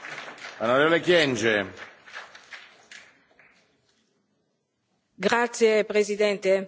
Signor Presidente, La ringrazio per aver riportato in quest'Aula la storia delle ragazze di Boko Haram.